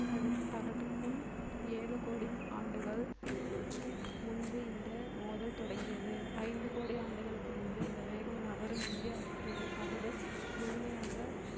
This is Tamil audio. தடுக்~ தகடுக்கும் ஏழு கோடி ஆண்டுகள் முன்பு இந்த மோதல் தொடங்கியது ஐந்து கோடி ஆண்டுகளுக்கு முன்பு இந்த வேகம் நகரும் இந்திய ஆஸ்திரேலிய தகடு முழுமையாக